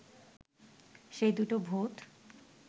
সেই দুটো ভূত